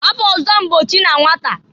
Afa ọzọ m bụ ochi na nwata.